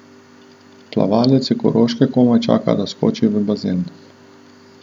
Plavalec s Koroške komaj čaka, da skoči v bazen.